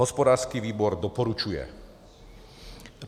Hospodářský výbor doporučuje.